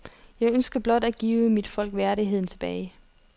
Jeg ønsker blot at give mit folk værdigheden tilbage.